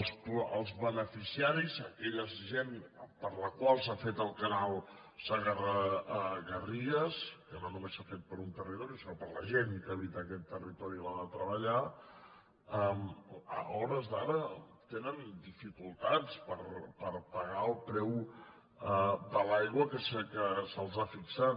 els beneficiaris aquella gent per a la qual s’ha fet el canal segarra garrigues que no només s’ha fet per a un territori sinó per a la gent que habita aquest territori i l’ha de treballar a hores d’ara tenen dificultats per pagar el preu de l’aigua que se’ls ha fixat